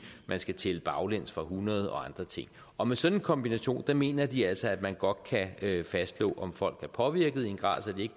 man skal tælle baglæns fra hundrede og andre ting og med sådan en kombination mener de altså man godt kan fastslå om folk er påvirket i en grad så de